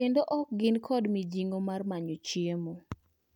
kendo ok gin kod mijing'o mar manyo chiemo.